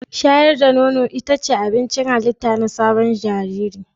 Shayar da nono ita ce abincin halitta na sabon jariri